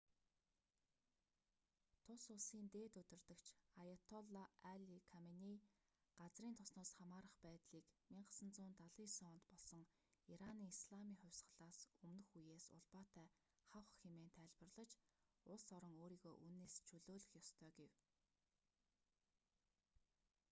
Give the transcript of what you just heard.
тус улсын дээд удирдагч аяатолла али каменей газрын тосноос хамаарах байдлыг 1979 онд болсон ираны исламын хувьсгалаас өмнөх үеэс улбаатай хавх хэмээн тайлбарлаж улс орон өөрийгөө үүнээс чөлөөлөх ёстой гэв